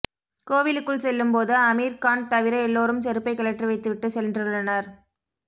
கோவிலுக்குள் செல்லும் போது அமீர்கான் தவிர எல்லோரும் செருப்பை கழற்றி வைத்து விட்டு சென்றுள்ளனர்